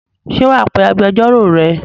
Ṣé wà á pe agbẹjọ́rò rẹ?